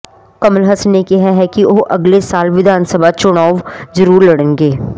ਕਮਲ ਹਸਨ ਨੇ ਕਿਹਾ ਹੈ ਕਿ ਉਹ ਅਗਲੇ ਸਾਲ ਵਿਧਾਨ ਸਭਾ ਚੋਣਾਵ ਜ਼ਰੂਰ ਲੜਨਗੇ ਪਰ